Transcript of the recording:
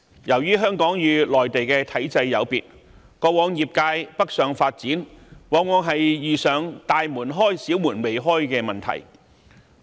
由於香港與內地體制有別，過往業界北上發展往往遇上"大門開，小門未開"的問題。